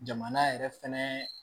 Jamana yɛrɛ fɛnɛ